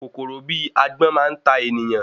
Kòkòrò bi Agbọ́n máa n ta ènìyàn